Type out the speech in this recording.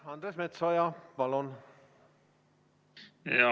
Andres Metsoja, palun!